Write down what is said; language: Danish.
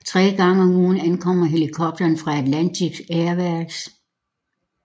Tre gange om ugen ankommer helikopteren ved Atlantic Airways